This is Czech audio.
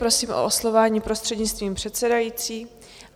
Prosím o oslovování prostřednictvím předsedající.